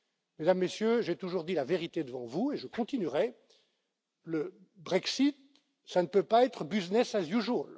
Mesdames, Messieurs, j'ai toujours dit la vérité devant vous et je continuerai. Le Brexit, ça ne peut pas être business as